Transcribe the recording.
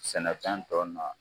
Sɛnɛfɛn dɔ na